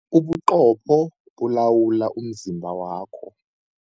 Ubuqopho bulawula umzimba wakho.